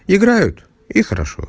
играют и хорошо